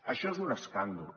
això és un escàndol